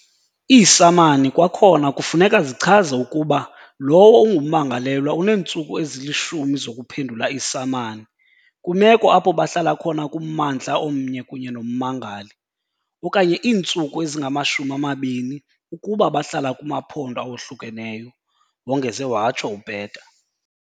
"Iisamami kwakhona kufuneka zichaze ukuba lowo ungummangalelwa uneentsuku ezi-10 zokuphendula iisamani - kwimeko apho bahlala khona kummandla omnye kunye nommangali, okanye iintsuku ezingama-20 - ukuba bahlala kumaphondo awohlukeneyo," wongeze watsho uPeta.